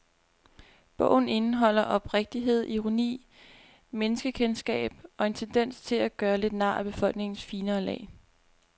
Bogen indeholder oprigtighed, ironi, menneskekendskab og en tendens til at gøre lidt nar af befolkningens finere lag.